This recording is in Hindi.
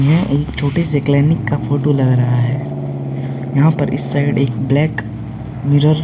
यह एक छोटे से क्लीनिक का फोटो लग रहा है। यहाँ पर इस साइड एक ब्लैक मिरर --